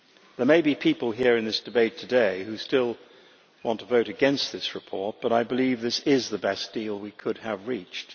There may be people here in this debate today who still want to vote against this report, but I believe this is the best deal we could have reached.